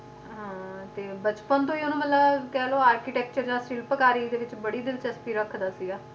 ਹਾਂ ਤੇ ਬਚਪਨ ਤੋਂ ਹੀ ਉਹਨੂੰ ਮਤਲਬ ਕਹਿ ਲਓ architecture ਦਾ ਸਿਲਪਕਾਰੀ ਦੇ ਵਿੱਚ ਬੜੀ ਦਿਲਚਸਪੀ ਰੱਖਦਾ ਸੀਗਾ